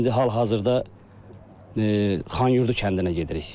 İndi hal-hazırda Xanyurdu kəndinə gedirik.